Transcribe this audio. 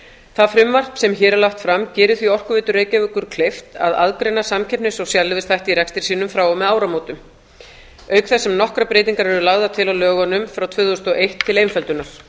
það frumvarp sem hér er lagt fram gerir því orkuveitu reykjavíkur kleift að aðgreina samkeppnis og sérleyfisþætti í rekstri sínum frá og með áramótum auk þess sem nokkrar breytingar eru lagðar til á lögunum frá tvö þúsund og eitt til einföldunar